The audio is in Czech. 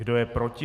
Kdo je proti?